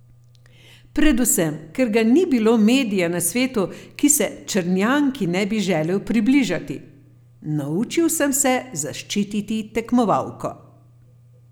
Predvsem, ker ga ni bilo medija na svetu, ki se Črnjanki ne bi želel približati: 'Naučil sem se zaščititi tekmovalko.